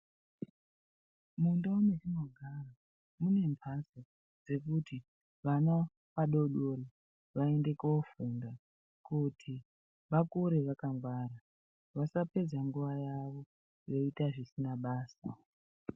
Mundau mwetinogara mune mbatso dzekuti vana vadoodori vaende koofunda kuti vakure vakangwara. Vasapedze nguva yavo veiita zvisina basa.